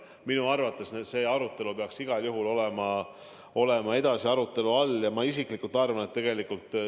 Minu arvates see peaks igal juhul olema edaspidi arutelu all.